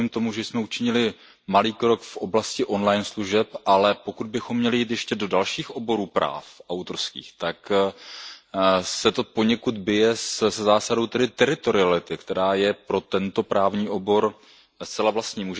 Rozumím tomu, že jsme učinili malý krok v oblasti on line služeb, ale pokud bychom měli jít ještě do dalších oborů autorských práv, tak se to poněkud bije se zásadou teritoriality, která je pro tento právní obor zcela vlastní.